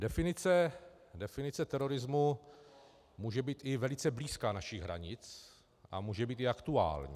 Definice terorismu může být i velice blízká našich hranic a může být i aktuální.